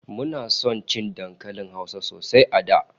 Muna son cin dankalin Hausa sosai a da